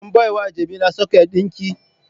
Kun baiwa jamila socket dinki?